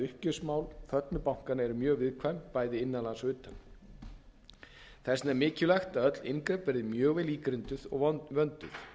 uppgjörsmál föllnu bankanna eru mjög viðkvæm bæði innan lands og utan þess vegna er mikilvægt að öll inngrip verði mjög vel ígrunduð og vönduð